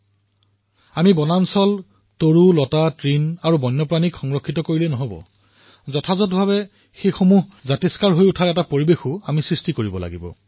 সেইবাবে আমি বন বনস্পতি আৰু বন্য জীৱক কেৱল সংৰক্ষণ নকৰি এনে এক পৰিবেশৰ সৃষ্টি কৰিব লাগে যে যত এইসমূহ সুন্দৰভাৱে প্ৰতিপালিত হব পাৰে